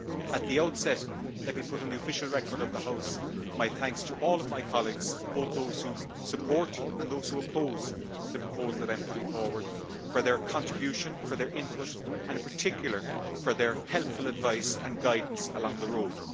At the outset, let me put on the official record of the House my thanks to all of my colleagues, both those who support and those who oppose the proposal I am putting forward, for their contributions, their input and in particular for their helpful advice and guidance along the road.